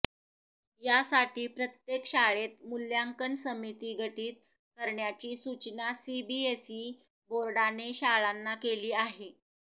यासाठी प्रत्येक शाळेत मूल्यांकन समिती गठित करण्याची सूचना सीबीएसई बोर्डाने शाळांना केली आहे